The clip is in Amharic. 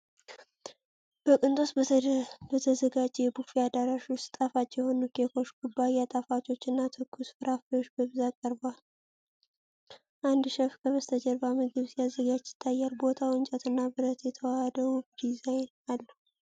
በቅንጦት በተዘጋጀ የቡፌ አዳራሽ ውስጥ፣ ጣፋጭ የሆኑ ኬኮች፣ ኩባያ ጣፋጮች እና ትኩስ ፍራፍሬዎች በብዛት ቀርበዋል። አንድ ሼፍ ከበስተጀርባ ምግብ ሲያዘጋጅ ይታያል። ቦታው እንጨት እና ብረት የተዋሃደ ውብ ዲዛይን አለው።